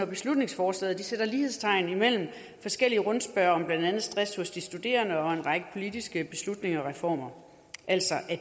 beslutningsforslaget sætter lighedstegn mellem forskellige rundspørger om blandt andet stress hos de studerende og en række politiske beslutninger og reformer altså at